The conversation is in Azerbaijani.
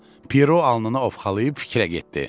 Piero alnını ovxalayıb fikrə getdi.